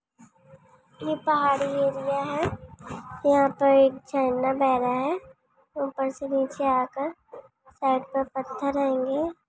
ये पहाड़ी एरिया है यहाँ पर एक झरना बह रहा है ऊपर से निचे आकर साइड पर पत्थर रहेंगे।